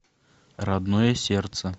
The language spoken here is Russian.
родное сердце